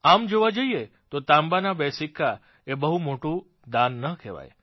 આમ જોવા જઇએ તો તાંબાના બે સિક્કા એ બહુ મોટુ દાન ન કહેવાય